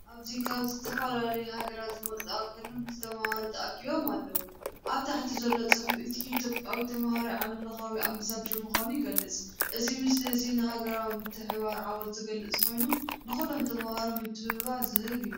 ኣብዚ ካብ ዝተፈላለያ ሃገራት ዝመጹ ኣገረምቲ ተማሃሮ ተኣኪቦም ኣለዉ። ኣብ ታሕቲ ዘሎ ጽሑፍ እቲ ኢትዮጵያዊ ተማሃራይ ዓለምለኻዊ ኣምባሳደር ምዃኑ ይገልጽ። እዚ ምስሊ እዚ ንኣህጉራዊ ምትሕብባርን ዓወትን ዝገልጽ ኮይኑ ንኹሎም ተማሃሮ ምትብባዕ ዝህብ እዩ።